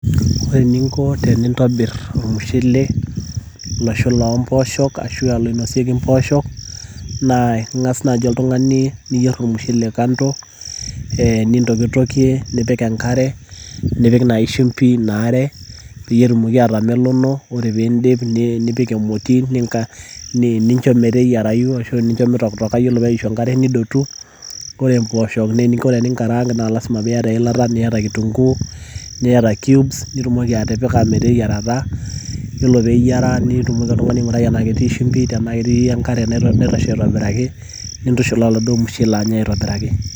ore eninko tenintobir ormushele, loshula o mpoosho ashu loinosieki mpoosho. naa ing'as naaji oltungani, niyier ormushele kando. nintokitokie, nipik enkare nipik naaji shimpi ina are, peyie etumoki atamelono. ore pee idipi nipik emoti, nincho meteyiarayu ashu nincho mitokitoka, ore peyie eishu enkare nidotu. ore mpoosho naa eninko teninkaraank naalasima pee iyata eilata, niyata kitunkuu, niyata cubes nitumoki atipika meteyiarata. iyiolo pee eyiara nitumoki oltungani aingurai tenaa ketii shumpi, nintushul oladuoo mushele.